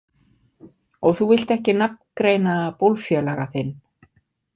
Og þú vilt ekki nafngreina bólfélaga þinn?